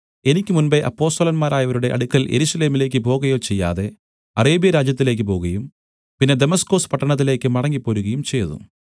എനിക്ക് മുമ്പെ അപ്പൊസ്തലന്മാരായവരുടെ അടുക്കൽ യെരൂശലേമിലേക്ക് പോകയോ ചെയ്യാതെ അറേബ്യരാജ്യത്തിലേക്ക് പോകുകയും പിന്നെ ദമസ്കൊസ് പട്ടണത്തിലേക്ക് മടങ്ങിപ്പോരുകയും ചെയ്തു